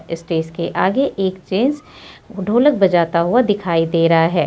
Stage के आगे एक जेंट्स ढोलक बजाता हुआ दिखाई दे रहा है।